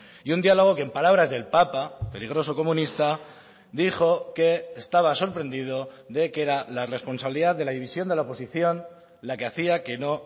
y un diálogo que en palabras del papa peligroso comunista dijo que estaba sorprendido de que era la responsabilidad de la división de la oposición la que hacía que no